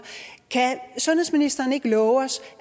kan sundhedsministeren så ikke love os